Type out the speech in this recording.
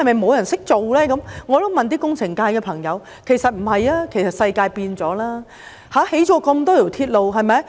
我也問過工程界的朋友，他們說不是，其實世界已改變，建造了這麼多條鐵路。